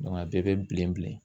Nɔn a bɛɛ be bilen bilen